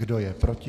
Kdo je proti?